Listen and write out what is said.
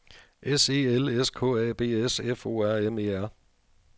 S E L S K A B S F O R M E R